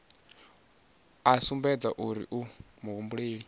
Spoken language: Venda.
a sumbedze uri u muhumbeli